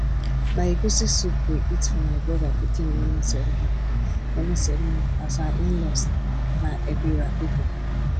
na egusi soup we eat for my brother pikin naming ceremony naming ceremony as our inlaws na ebira people